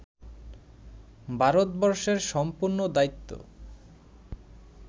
ভারতবর্ষের সম্পূর্ণ দায়িত্ব